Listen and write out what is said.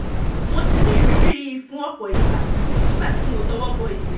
mo ti ní ìrírí yìí fún ọ̀pọ̀ ìgbà nígbà tí mo tọwọ́ bọ ìwé